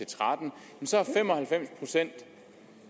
tretten så er fem og halvfems procent